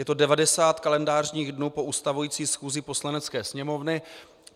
Je to 90 kalendářních dnů po ustavující schůzi Poslanecké sněmovny.